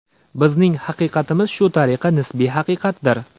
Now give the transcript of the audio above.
Bizning haqiqatimiz shu tariqa nisbiy haqiqatdir.